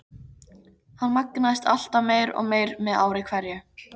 Hann magnaðist alltaf meir og meir með ári hverju.